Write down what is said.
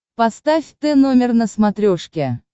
поставь тномер на смотрешке